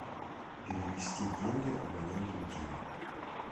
перевести деньги абоненту дима